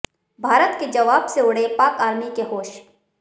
भारत के जवाब से उड़े पाक आर्मी के होश